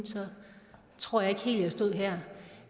tror jeg ikke helt at jeg stod her